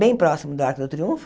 Bem próximo do Arco do Triunfo.